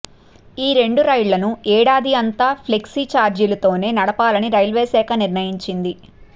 ఈ రెండు రైళ్లను ఏడాది అంతా ఫ్లెక్సీఛార్జీలతోనే నడపాలని రైల్వేశాఖ నిర్ణయించింది